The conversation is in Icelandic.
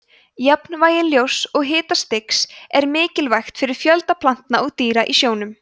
jafnvægi ljóss og hitastigs er mikilvægt fyrir fjölda plantna og dýra í sjónum